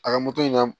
A ka moto in na